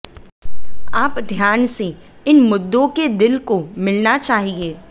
आप ध्यान से इन मुद्दों के दिल को मिलना चाहिए